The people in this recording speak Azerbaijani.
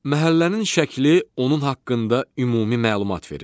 Məhəllənin şəkli onun haqqında ümumi məlumat verir.